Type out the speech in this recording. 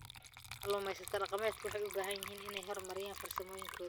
Kalluumaysatada dhaqameedku waxay u baahan yihiin inay horumariyaan farsamooyinkooda.